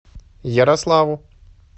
ярославу